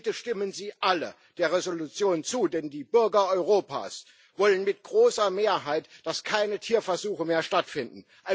Bitte stimmen Sie alle der Entschließung zu, denn die Bürger Europas wollen mit großer Mehrheit, dass keine Tierversuche mehr stattfinden.